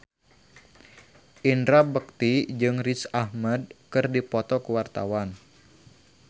Indra Bekti jeung Riz Ahmed keur dipoto ku wartawan